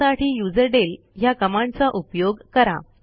त्यासाठी युझरडेल ह्या कमांडचा उपयोग करा